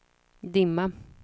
dimma